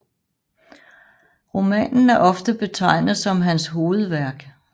Romanen er ofte betegnet som hans hovedværk